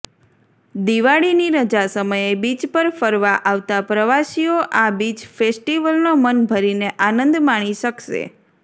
દિવાળીની રજા સમયે બીચ પર ફરવા અાવતા પ્રવાસીઅો અા બીચ ફેસ્ટીવલનો મનભરીને અાનંદ માણી શકસે